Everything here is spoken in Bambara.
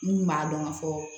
N'u m'a dɔn k'a fɔ